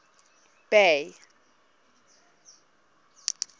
bay